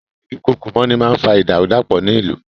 Ìdúkookòmọ́ni máa ń fa ìdàrúdàpọ̀ ní ìlú.